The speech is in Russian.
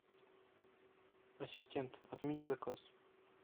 ассистент отмени заказ